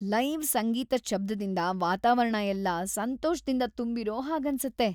Live ಸಂಗೀತದ್ ಶಬ್ದದಿಂದ ವಾತಾವರಣ ಎಲ್ಲ ಸಂತೋಷ್ದಿಂದ‌ ತುಂಬಿರೋ ಹಾಗನ್ಸತ್ತೆ.